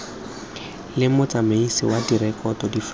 le motsamaisi wa direkoto difaele